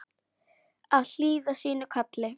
Að hlýða sínu kalli